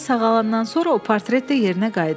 Sən sağalandan sonra o portret də yerinə qayıdar.